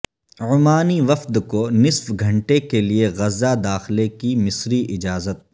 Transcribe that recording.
عمانی وفد کو نصف گھنٹے کے لیے غزہ داخلے کی مصری اجازت